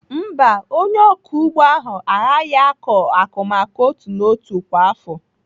Mba, onye ọkụ ugbo ahụ aaghị akọ akụmakụ n'otu n'otu kwa afọ.